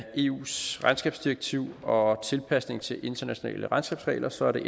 eus regnskabsdirektiv og tilpasningen til internationale regnskabsregler så er der